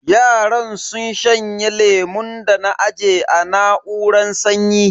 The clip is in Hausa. Yaran sun shanye lemun da na aje a na'uran sanyi.